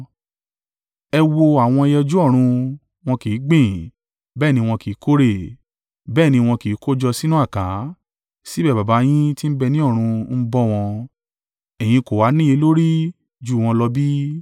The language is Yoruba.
Ẹ wo àwọn ẹyẹ ojú ọrun; wọn kì í gbìn, bẹ́ẹ̀ ni wọn kì í kórè, bẹ́ẹ̀ ni wọn kì í kójọ sínú àká, síbẹ̀ Baba yín tí ń bẹ ní ọ̀run ń bọ́ wọn. Ẹ̀yin kò ha níye lórí jù wọ́n lọ bí?